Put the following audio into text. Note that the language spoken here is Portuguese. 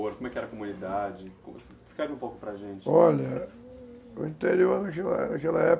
Como é que era a comunidade, descreve um pouco para a gente, olha, o interior época